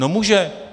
No může.